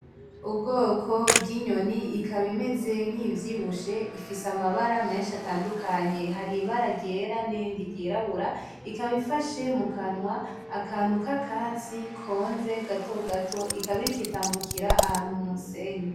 Ubwoko bwinyoni ikaba imeze nkiyivyibushe ifise amabara menshi atandukanye, haribara ryera nirindi ryirabura, ikaba ifashe mukanwa akantu kakatsi konze gato gato, ikaba itambukira mumusenyi.